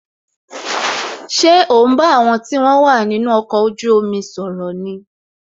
Ṣé o ń bá àwọn tí wọn wà nínú ọkọ̀ ojú omi sọ̀rọ̀ ni